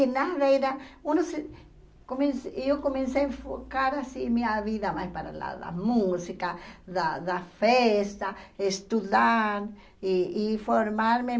Que nada era, come eu comecei a enfocar assim minha vida mais para o lado da música, da da festa, estudar e e formar-me.